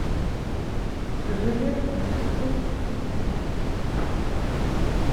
жилет мужской спицами